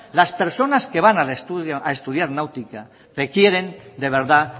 las personas que van a estudiar náutica requieren de verdad